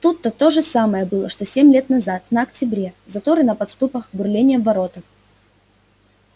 тут то же самое было что семь лет назад на октябре заторы на подступах бурление в воротах